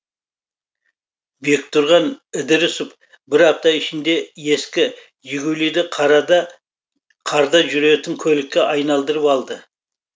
бектұрған ідірісов бір апта ішінде ескі жигулиді қарда жүретін көлікке айналдырып алды